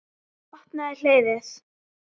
Opnaðu hliðið.